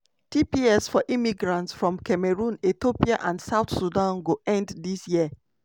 tps for immigrants from cameroon ethiopia and south sudan go end dis year.